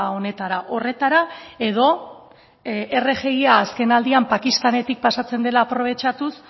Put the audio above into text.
honetara horretara edo rgia azken aldian pakistanetik pasatzen dela aprobetxatuz